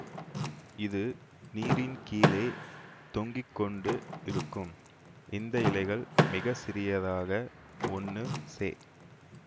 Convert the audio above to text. இது நீரின் கீழே தொங்கி கொண்டு இருக்கும் இந்த இலைகள் மிக சிறியதாக ஒன்னு செ